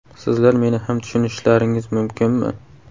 Sizlar meni ham tushunishlaringiz mumkinmi?